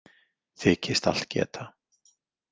Þykist allt geta.